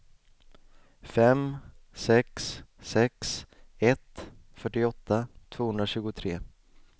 fem sex sex ett fyrtioåtta tvåhundratjugotre